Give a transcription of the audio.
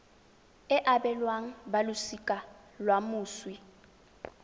e abelwang balosika la moswi